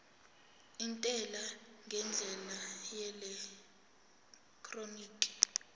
intela ngendlela yeelektroniki